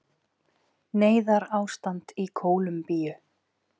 Neyðarástand í Kólumbíu